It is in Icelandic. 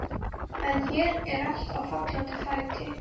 En hér er allt á fallanda fæti.